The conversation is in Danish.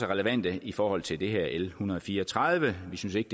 relevante i forhold til det her lovforslag l en hundrede og fire og tredive vi synes ikke